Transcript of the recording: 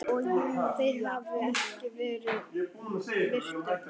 þeirra hafi ekki verið virtur.